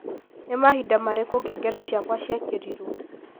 Nĩ Mahinda Marĩkũ ngengere Ciakwa ciekerirũo